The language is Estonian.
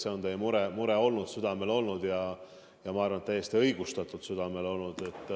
See on teie mure olnud, see on teil südamel olnud, ja ma arvan, et täiesti õigustatult.